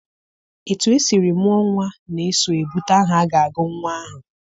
Etu esiri mụọ nnwa na-eso ebute aha a ga-agụ nnwa ahụ.